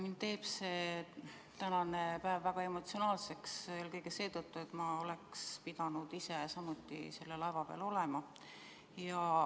Mind teeb see tänane päev väga emotsionaalseks eelkõige seetõttu, et ma oleks pidanud ise samuti selle laeva peal olema.